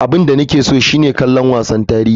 Abin da nake so shine kallon wasan tarihi.